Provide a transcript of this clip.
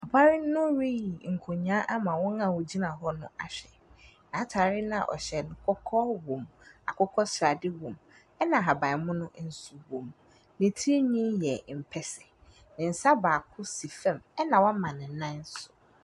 Papa no reyi ɛnkonyaa ama wɔn a wɔgyina hɔ no ahwɛ. Naatare naa ɔhyɛ no, kɔkɔɔ wom, akukɔsradi wom ɛna ahaban munu ɛnso wom. Netri nwinii yɛ mpɛsɛ, nensa baako si fɛm ɛna w'ama nenan so.